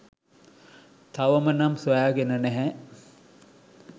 තවම නම් සොයාගෙන නැහැ.